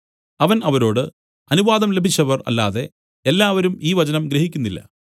അവൻ അവരോട് അനുവാദം ലഭിച്ചവർ അല്ലാതെ എല്ലാവരും ഈ വചനം ഗ്രഹിക്കുന്നില്ല